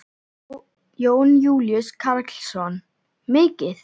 Jón Júlíus Karlsson: Mikið?